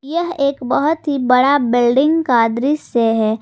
यह एक बहुत ही बड़ा बिल्डिंग का दृश्य है।